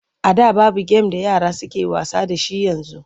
A da babu gem da yara suke wasa da shi yanzu.